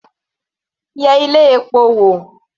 Yẹ ilé epo wò.